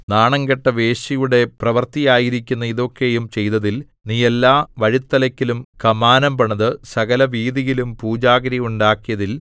നാണംകെട്ട വേശ്യയുടെ പ്രവൃത്തിയായിരിക്കുന്ന ഇതൊക്കെയും ചെയ്തതിൽ നീ എല്ലാ വഴിത്തലക്കലും കമാനം പണിത് സകലവീഥിയിലും പൂജാഗിരി ഉണ്ടാക്കിയതിൽ